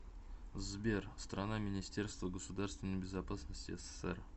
сбер страна министерство государственной безопасности ссср